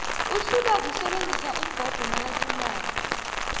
uhlulwa kusebenzisa umbhobho nakaqulako